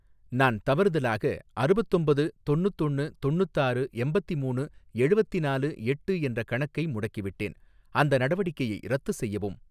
நான் தவறுதலாக அறுவத்தொம்பது தொன்னுத்தொன்னு தொன்னுத்தாறு எம்பத்திமூணு எழுவத்திநாலு எட்டு என்ற கணக்கை முடக்கிவிட்டேன், அந்த நடவடிக்கையை ரத்து செய்யவும்.